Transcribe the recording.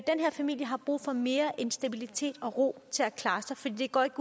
familie har brug for mere end stabilitet og ro til at klare sig for det går ikke